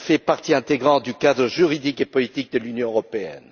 Elle fait partie intégrante du cadre juridique et politique de l'Union européenne.